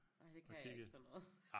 Ej det kan jeg ikke sådan noget